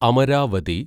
Amaravati